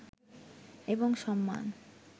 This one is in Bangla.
এবং সম্মান